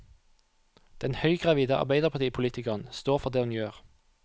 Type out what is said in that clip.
Den høygravide arbeiderpartipolitikeren står for det hun gjør.